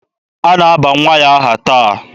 A na-aba nwa ya aha taa.